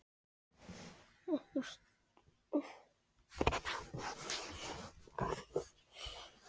Ekkert stig fyrir þennan.